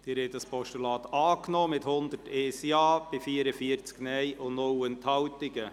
Sie haben dieses Postulat angenommen, mit 101 Ja- gegen 44 Nein-Stimmen bei 0 Enthaltungen.